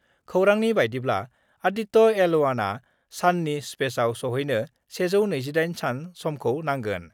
खौरांनि बायदिब्ला आदित्य एल 1 आ साननि स्पेसआव सौहैनो 128 सान समखौ नांगोन।